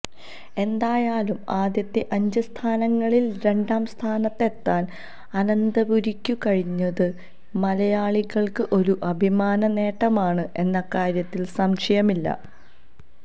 എന്തായാലും ആദ്യത്തെ അഞ്ച് സ്ഥാനങ്ങളില് രണ്ടാം സ്ഥാനത്തെത്താന് അനന്തപുരിക്കു കഴിഞ്ഞത് മലയാളികള്ക്ക് ഒരു അഭിമാന നേട്ടമാണ് എന്ന കാര്യത്തില് സംശയമില്ല